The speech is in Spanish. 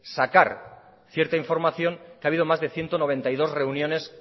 sacar cierta información que ha habido más de ciento noventa y dos reuniones